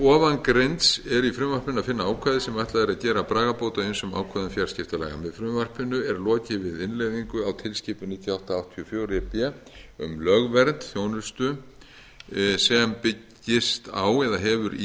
ofangreinds er í frumvarpinu að finna ákvæði sem ætlað er að gera bragarbót á ýmsum ákvæðum fjarskiptalaga með frumvarpinu er lokið við innleiðingu á tilskipun níutíu og átta áttatíu og fjögur e b um lögvernd þjónustu sem byggist á eða hefur í